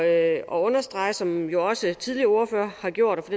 at understrege som jo også tidligere ordførere har gjort og for